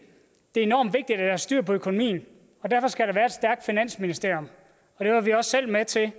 er enormt vigtigt at der er styr på økonomien og derfor skal der være et stærkt finansministerium det var vi også selv med til at